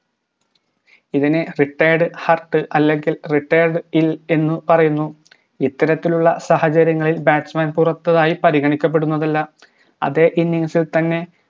ഇതിനെ retired hurt അല്ലെങ്കിൽ retired ill എന്ന് പറയുന്നു ഇത്തരത്തിലുള്ള സാഹചര്യങ്ങളിൽ batsman പുറത്തായി പരിഗണിക്കപ്പെടുന്നതല്ല അതെ innings ഇൽ തന്നെ